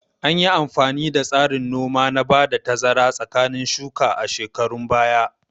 Anyi amfani da tsarin noma na ba da tazara tsakanin shuka a shekarun baya